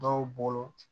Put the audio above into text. Dɔw bolo